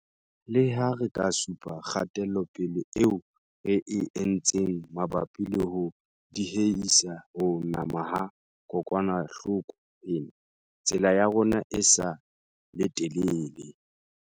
Le ha re ka supa kgatelopele eo re e entseng mabapi le ho diehisa ho nama ha kokwanahloko ena, tsela ya rona e sa le telele.